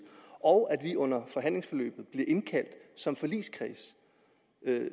og at vi under forhandlingsforløbet bliver indkaldt som forligskreds